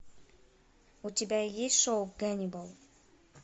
у тебя есть шоу каннибал